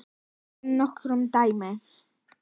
Tökum nokkur dæmi.